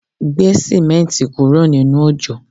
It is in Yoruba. Gbé símẹ́ǹti kúrò nínú òjò